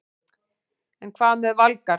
En hvað með Valgarð?